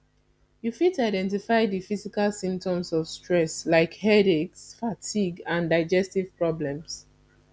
you fit identify di physical symptoms of stress like headaches fatigue and digestive problems